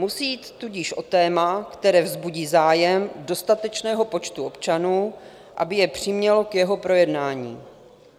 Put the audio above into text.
Musí jít tudíž o téma, které vzbudí zájem dostatečného počtu občanů, aby je přimělo k jeho projednání.